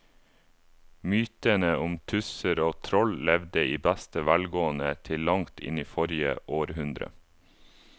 Mytene om tusser og troll levde i beste velgående til langt inn i forrige århundre.